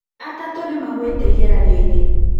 atatũ nĩmaguĩte ĩgeranio inĩ